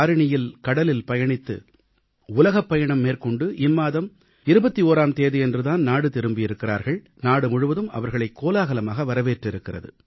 தாரியிணியில் கடலில் பயணித்து உலகப்பயணம் மேற்கொண்டு இம்மாதம் 21ஆம் தேதியன்று தான் நாடு திரும்பியிருக்கிறார்கள் நாடுமுழுவதும் அவர்களைக் கோலாகலமாக வரவேற்றிருக்கிறது